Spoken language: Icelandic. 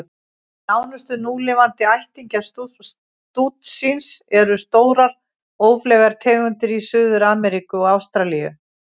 Nánustu núlifandi ættingjar stútsins eru stórar, ófleygar tegundir í Suður-Ameríku og Ástralíu.